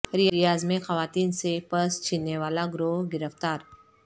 ریاض میں خواتین سے پرس چھیننے والا گروہ گرفتار